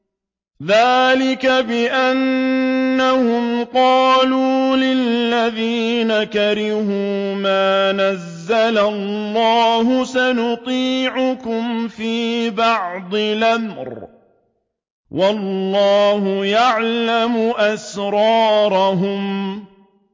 ذَٰلِكَ بِأَنَّهُمْ قَالُوا لِلَّذِينَ كَرِهُوا مَا نَزَّلَ اللَّهُ سَنُطِيعُكُمْ فِي بَعْضِ الْأَمْرِ ۖ وَاللَّهُ يَعْلَمُ إِسْرَارَهُمْ